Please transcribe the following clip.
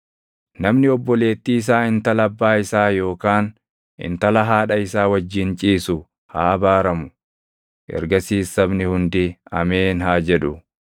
“Namni obboleettii isaa intala abbaa isaa yookaan intala haadha isaa wajjin ciisu haa abaaramu.” Ergasiis sabni hundi, “Ameen!” haa jedhu.